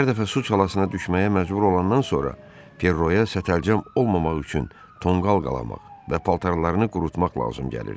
Hər dəfə su çalasına düşməyə məcbur olandan sonra Ferroya sətəlcəm olmamaq üçün tonqal qalamaq və paltarlarını qurutmaq lazım gəlirdi.